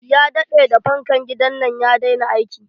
Ya daɗe da fankan gidan nan ya daina aiki.